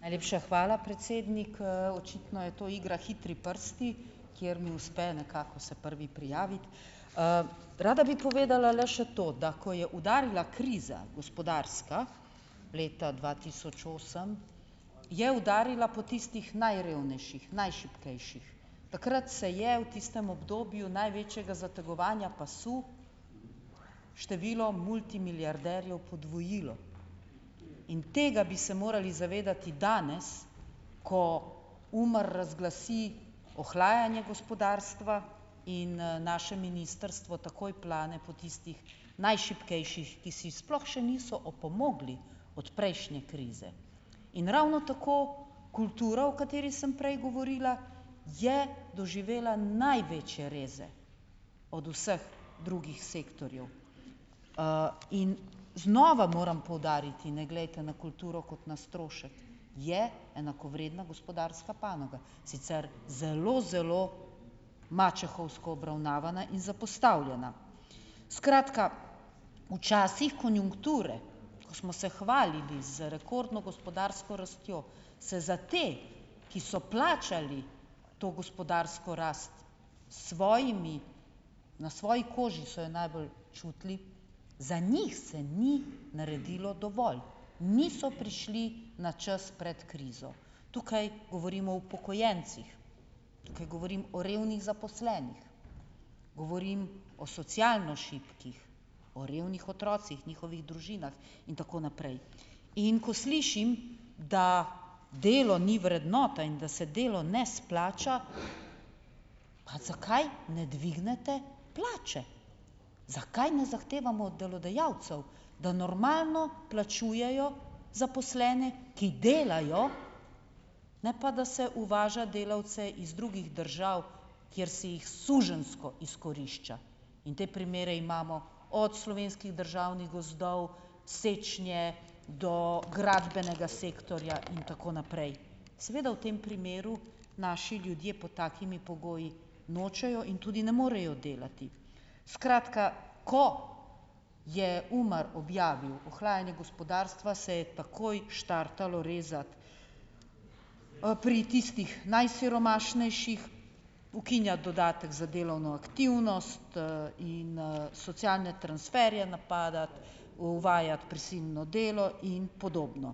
Najlepša hvala, predsednik, očitno je to igra hitri prsti, kjer mi uspe nekako se prvi prijaviti, rada bi povedala le še to, da ko je udarila kriza gospodarska leta dva tisoč osem, je udarila po tistih najrevnejših, najšibkejših, takrat se je v tistem obdobju največjega zategovanja pasu število multimilijarderjev podvojilo, in tega bi se morali zavedati danes, ko UMAR razglasi ohlajanje gospodarstva in naše ministrstvo takoj plane po tistih najšibkejših, ki si sploh še niso opomogli od prejšnje krize, in ravno tako kulturo, o kateri sem prej govorila, je doživela največje reze od vseh drugih sektorjev, in znova moram poudariti, ne glejte na kulturo kot na strošek, je enakovredna gospodarska panoga, sicer zelo zelo mačehovsko obravnavana in zapostavljena, skratka, na časih konjunkture, ko smo se hvalili z rekordno gospodarsko rastjo, se za te, ki so plačali to gospodarsko rast svojimi, na svoji koži so jo najbolj čutili, za njih se ni naredilo dovolj, niso prišli na čas pred krizo, tukaj govorimo o upokojencih, tukaj govorim o revnih zaposlenih, govorim o socialno šibkih, o revnih otrocih njihovih družinah in tako naprej, in ko slišim, da delo ni vrednota in da se delo ne splača, pa zakaj ne dvignete plače, zakaj ne zahtevamo od delodajalcev, da normalno plačujejo zaposlene, ki delajo, ne pa da se uvaža delavce iz drugih držav, kjer si jih suženjsko izkorišča, in te primere imamo od slovenskih državnih gozdov sečnje do gradbenega sektorja in tako naprej, seveda v tem primeru naši ljudje pod takimi pogoji nočejo in tudi ne morejo delati, skratka, ko je UMAR objavil ohlajanje gospodarstva se je takoj štartalo rezati, pri tistih najsiromašnejših ukinja dodatek za delovno aktivnost, in, socialne transferje napadati, uvajati prisilno delo in podobno,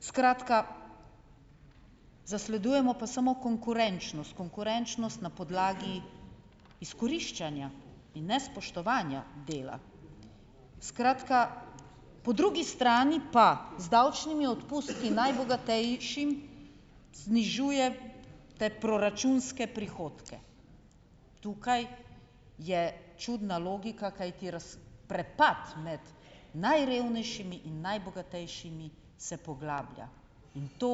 skratka, zasledujemo pa samo konkurenčnost, konkurenčnost na podlagi izkoriščenja in nespoštovanja dela, skratka, po drugi strani pa z davčnimi odpustki najbogatejšim znižuje te proračunske prihodke, tukaj je čudna logika, kajti prepad med najrevnejšimi in najbogatejšimi se poglablja in to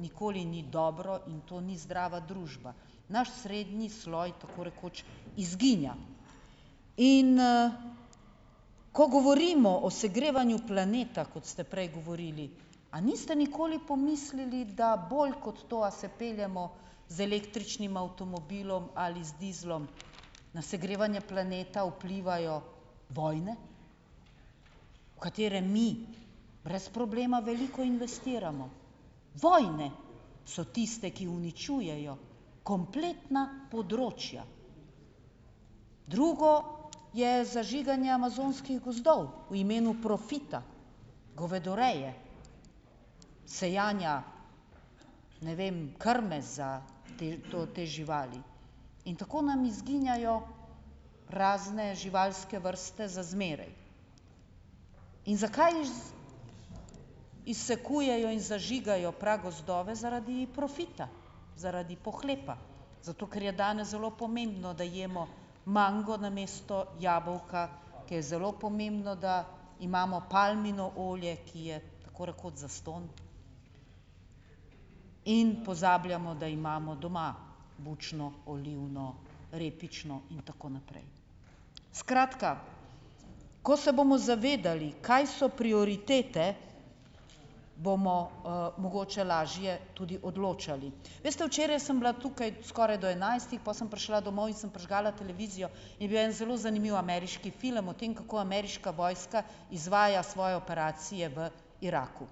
nikoli ni dobro, in to ni zdrava družba naš srednji sloj tako rekoč izginja in, ko govorimo o segrevanju planeta, kot ste prej govorili, a niste nikoli pomislili, da bolj kot to, a se peljemo z električnim avtomobilom ali z dizlom, na segrevanje planeta vplivajo vojne, katere mi brez problema veliko investiramo, vojne so tiste, ki uničujejo kompletna področja, drugo je zažiganje amazonskih gozdov v imenu profita, govedoreje, sajenja, ne vem, krme za te, to, te živali in tako nam izginjajo razne živalske vrste za zmeraj. In zakaj izsekujejo in zažigajo pragozdove? Zaradi profita, zaradi pohlepa, zato ker je danes zelo pomembno, da jemo mango namesto jabolka, ker je zelo pomembno, da imamo palmino olje, ki je tako rekoč zastonj, in pozabljamo, da imamo doma bučno, olivno, repično in tako naprej, skratka, ko se bomo zavedali, kaj so prioritete, bomo, mogoče lažje tudi odločali, veste, včeraj sem bila tukaj skoraj do enajstih, pol sem prišla domov in sem prižgala televizijo, je bil en zelo zanimiv ameriški film o tem, kako ameriška vojska izvaja svoje operacije v Iraku,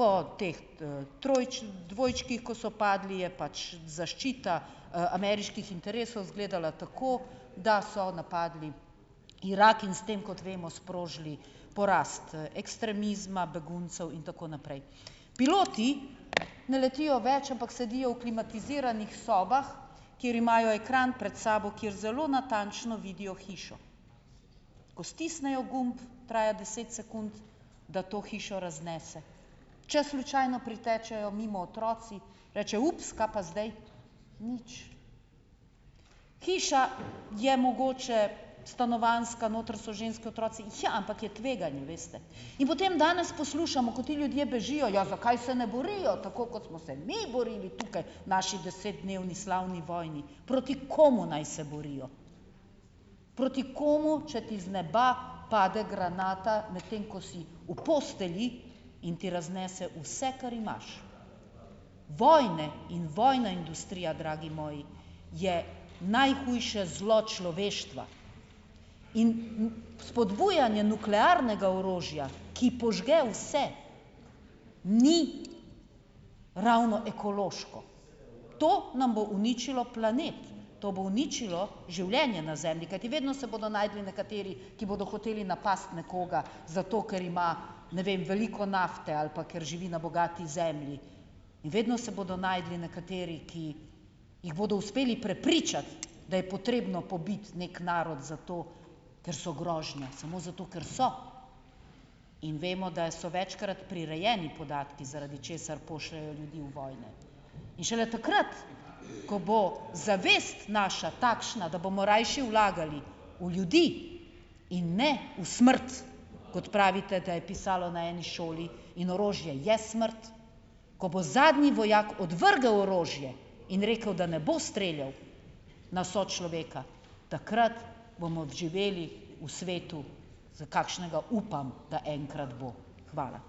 po teh, dvojčkih, ko so padli, je pač zaščita, ameriških interesov izgledala tako, da so napadli Irak in s tem, kot vemo, sprožili porast ekstremizma beguncev in tako naprej, piloti ne letijo več, ampak sedijo v klimatiziranih sobah, kjer imajo ekran pred sabo, kjer zelo natančno vidijo hišo, ko stisnejo gumb, traja deset sekund, da to hišo raznese, če slučajno pritečejo mimo otroci rečejo: "Ups, kaj pa zdaj?" Nič, hiša je mogoče stanovanjska, noter so ženske, otroci, ja, ampak je tveganje, veste, in potem danes poslušamo, ko ti ljudje bežijo, ja, zakaj se ne borijo tako, kot smo se mi borili tukaj, naši desetdnevni slavni vojni, proti komu naj se borijo, proti komu, če ti z neba pade granata, medtem ko si v postelji, in ti raznese vse, kar imaš. Vojne in vojna industrija, dragi moji, je najhujše zlo človeštva in spodbujanje nuklearnega orožja, ki požge vse, ni ravno ekološko, to nam bo uničilo planet, to bo uničilo življenje na Zemlji, kajti vedno se bodo našli nekateri, ki bodo hoteli napasti nekoga, zato ker ima, ne vem, veliko nafte ali pa ker živi na bogati zemlji, vedno se bodo našli nekateri, ki jih bodo uspeli prepričati, da je potrebno pobiti neki narod, zato ker so grožnje, samo zato ker so, in vemo, da so večkrat prirejeni podatki, zaradi česar pošljejo ljudi v vojne, in šele takrat, ko bo zavest naša takšna, da bomo rajši vlagali v ljudi in ne v smrt, kot pravite, da je pisalo na eni šoli, in orožje je smrt, ko bo zadnji vojak odvrgel orožje in rekel, da ne bo streljal na sočloveka, takrat bomo živeli v svetu, za kakšnega upam, da enkrat bo. Hvala.